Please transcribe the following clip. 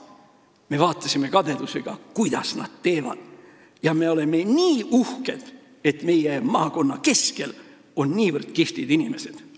Me vaatasime kadedusega, kuidas nad seda teevad, ja me oleme nii uhked, et meie maakonna keskuses on nii kihvtid inimesed.